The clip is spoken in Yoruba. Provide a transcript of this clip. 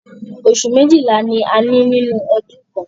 Oṣù méjìlá ni a ní nínú ọdún kan.